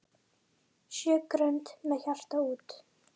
Sjö grönd með hjarta út.